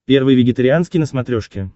первый вегетарианский на смотрешке